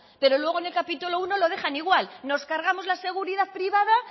pero luego en el capítulo primero lo dejan igual nos cargamos la seguridad privada